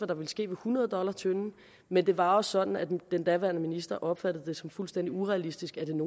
der ville ske ved hundrede dollars tønden men det var sådan at den daværende minister opfattede det som fuldstændig urealistisk at den